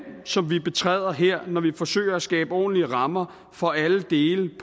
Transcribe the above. som vi betræder her når vi forsøger at skabe ordentlige rammer for alle dele